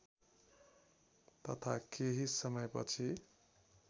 तथा केही समयपछि